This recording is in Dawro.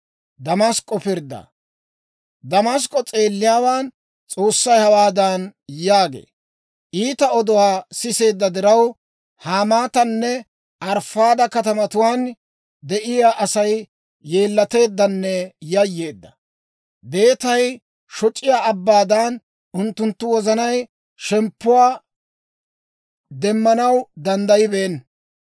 Damask'k'o s'eelliyaawaan S'oossay hawaadan yaagee; «Iita oduwaa siseedda diraw, Hamaatanne Arifaada katamatuwaan de'iyaa Asay yeellateeddanne yayyeedda. Beetay shoc'iyaa abbaadan, unttuntta wozanay shemppuwaa demmanaw danddayibeenna.